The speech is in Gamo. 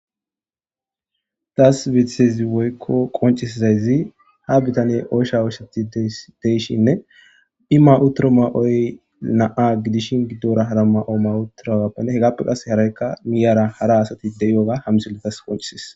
Daas bithezi woykko qoncisizayzi ha bitane oysha ooshsati deyshinne ima7uturo ma7oy naa gidishin giddora hara ma7o ma7uturagappenne hegaappe qase haraykka miyara hara asati deyoga hamsuletas qoncisis